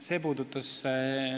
Aitäh!